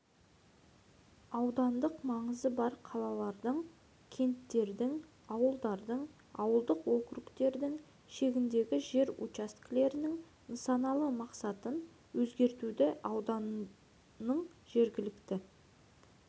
аудандық маңызы бар қалалардың кенттердің ауылдардың ауылдық округтердің шегіндегі жер учаскелерінің нысаналы мақсатын өзгертуді ауданның жергілікті